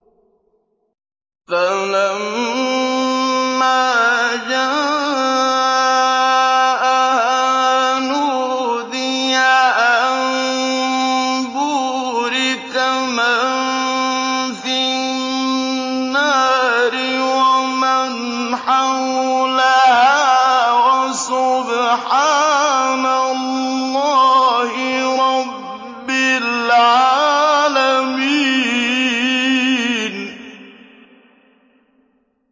فَلَمَّا جَاءَهَا نُودِيَ أَن بُورِكَ مَن فِي النَّارِ وَمَنْ حَوْلَهَا وَسُبْحَانَ اللَّهِ رَبِّ الْعَالَمِينَ